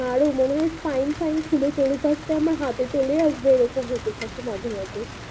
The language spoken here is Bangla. আরো মনে হয় ফাইন ফাইন খুলে পরে থাকতে আমার হাতে চলে আসবে এই রকম ভাবে থাকে মাঝে মাঝে